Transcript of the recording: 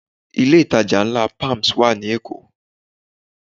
Ilé ìtajà ńlá Palms wà ní Èkó